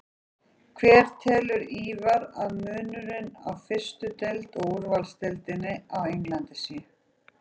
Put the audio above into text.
Hver telur Ívar að munurinn á fyrstu deildinni og úrvalsdeildinni á Englandi sé?